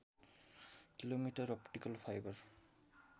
kilometre optical fibre